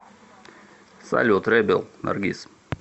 салют ребел наргиз